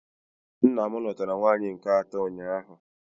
Nna m lụtara nwaanyị nke atọ ụnyaahụ